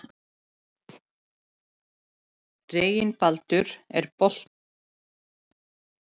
Mæja liggur töluvert frá þeim hinum og steinsefur.